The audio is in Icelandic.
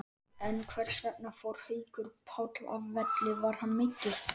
En hversvegna fór Haukur Páll af velli, var hann meiddur?